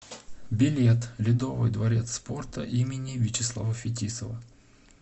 билет ледовый дворец спорта им вячеслава фетисова